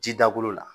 Ji dakolo la